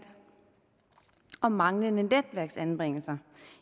og manglende anbringelser